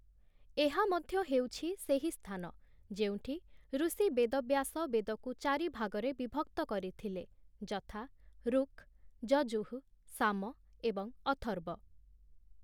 ଏହା ମଧ୍ୟ ହେଉଛି ସେହି ସ୍ଥାନ ଯେଉଁଠି ଋଷି ବେଦବ୍ୟାସ ବେଦକୁ ଚାରି ଭାଗରେ ବିଭକ୍ତ କରିଥିଲେ, ଯଥା ୠକ୍, ଯଜୁଃ, ସାମ ଏବଂ ଅଥର୍ବ ।